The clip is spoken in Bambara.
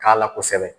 K'a la kosɛbɛ